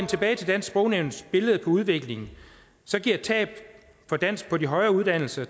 tilbage til dansk sprognævns billede på udviklingen bliver tab af dansk på de højere uddannelser